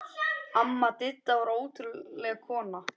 Amma Didda var ótrúleg kona.